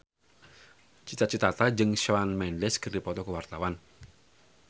Cita Citata jeung Shawn Mendes keur dipoto ku wartawan